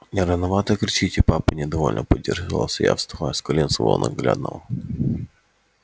не рановато кричите папа недовольно поинтересовался я вставая с колен своего ненаглядного